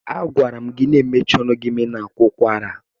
A gwara m gi na ị mechie ọnụ gị ma ị na-akwa ụkwara.